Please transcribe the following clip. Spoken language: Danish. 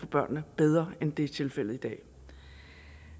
børnene bedre end det er tilfældet i dag